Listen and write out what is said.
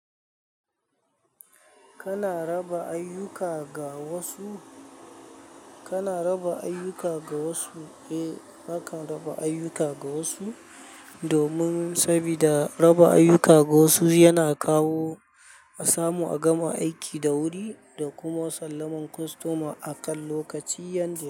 Kana raba ayyuka ga wasu? Kana raba ayyuka ga wasu? Eh, nakan raba ayyuka ga wasu domin, sabida raba ayyuka ga wasu yana kawo a samu a gama aiki da wuri, da kuma sallaman kostoma akan lokaci, yanzu.